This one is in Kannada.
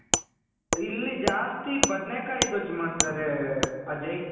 ಇಲ್ಲಿ ಜಾಸ್ತಿ ಬದನೆ ಕಾಯಿ ಗೊಜ್ಜು ಮಾಡ್ತಾರೆ ಅಜಯ್ .